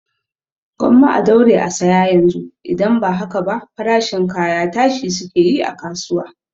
Gwamma a daure a saya yanzu, idan ba haka ba farashin kaya tashi suke yi a kasuwa